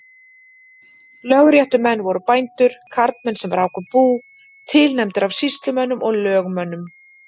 Lögréttumenn voru bændur, karlmenn sem ráku bú, tilnefndir af sýslumönnum og lögmönnum.